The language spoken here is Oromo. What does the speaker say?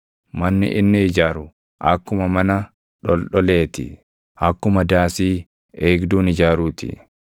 Manni inni ijaaru akkuma mana dholdholee ti; akkuma daasii eegduun ijaaruu ti.